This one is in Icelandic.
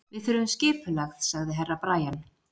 Við þurfum skipulag, svaraði Herra Brian.